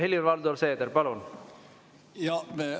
Helir-Valdor Seeder, palun!